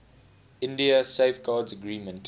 india safeguards agreement